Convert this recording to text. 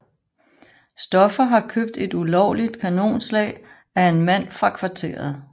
Stoffer har købt et ulovligt kanonslag af en mand fra kvarteret